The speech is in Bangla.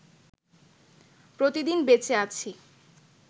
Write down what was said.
প্রতিদিন বেঁচে আছি